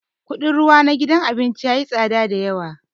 Kudin ruwa na gidan abincin yayi tsada da yawa.